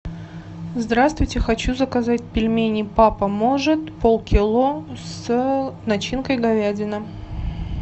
здравствуйте хочу заказать пельмени папа может полкило с начинкой говядина